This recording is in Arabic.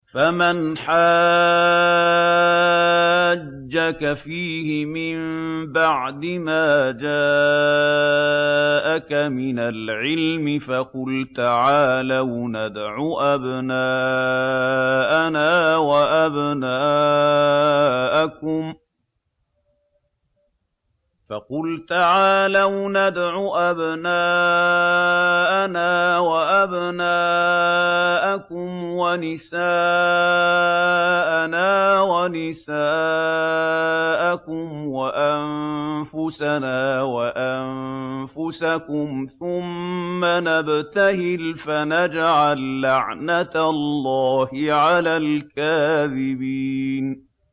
فَمَنْ حَاجَّكَ فِيهِ مِن بَعْدِ مَا جَاءَكَ مِنَ الْعِلْمِ فَقُلْ تَعَالَوْا نَدْعُ أَبْنَاءَنَا وَأَبْنَاءَكُمْ وَنِسَاءَنَا وَنِسَاءَكُمْ وَأَنفُسَنَا وَأَنفُسَكُمْ ثُمَّ نَبْتَهِلْ فَنَجْعَل لَّعْنَتَ اللَّهِ عَلَى الْكَاذِبِينَ